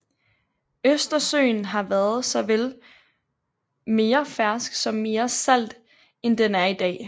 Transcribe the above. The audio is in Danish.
Østersøen har været såvel mere fersk som mere salt end den er i dag